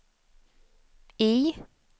I